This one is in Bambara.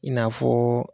I n'a fɔ